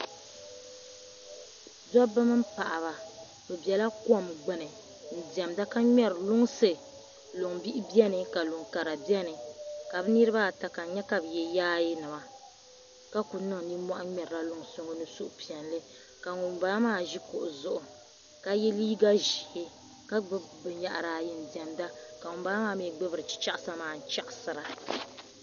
Dabba mini paɣaba bɛ bela kom gbuni n diɛmda ka ŋmɛri luŋsi luŋ bihi bɛni ka luŋkara bɛni ka bɛ niriba ata ka n nyɛ ka bɛ yɛ yaayɛ nima ka ku niŋ nimmɔhi ŋmɛrila luŋsi ŋɔ ni suhupiɛlli ŋun bala maa ʒe kuɣu zuɣu ka yɛ liiga ʒee ka gbubi bɛyahiri ayi n diɛmda ka ŋun bala maa mii gbubi chichaɣisa maa chaɣisira.